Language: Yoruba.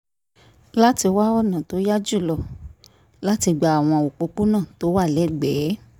láti wá ọ̀nà tó yá jù lọ láti gba àwọn òpópónà tó wà lẹ́gbẹ̀ẹ́